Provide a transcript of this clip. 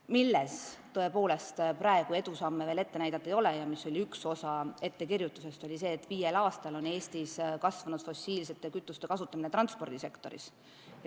Milles tõepoolest praegu edusamme veel ette näidata ei ole ja mis oli üks osa ettekirjutusest, oli see, et viiel aastal on Eestis kasvanud fossiilsete kütuste kasutamine transpordisektoris.